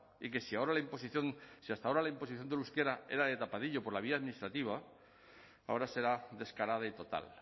y que si hasta ahora la imposición del euskera era de tapadillo por la vía administrativa ahora será descarada y total